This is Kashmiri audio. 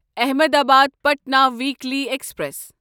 Ahmedabad Patna weekly express